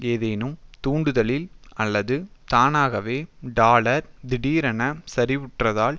ஏதேனும் தூண்டுதலில் அல்லது தானகவே டாலர் திடீரெனச் சரிவுற்றால்